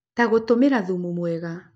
Ta gũtũmĩra thumu mwega